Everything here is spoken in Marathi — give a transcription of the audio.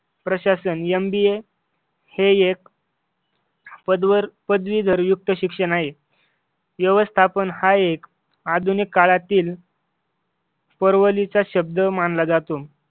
प्रशासन MBA हे एक पदवर पदवीधर युक्त शिक्षण आहे. व्यवस्थापन हा एक आधुनिक काळातील परवलीचा शब्द मानला जातो.